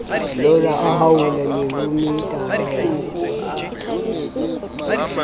lora a haola meruemetala ya